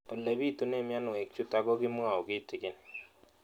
Ole pitune mionwek chutok ko kimwau kitig'�n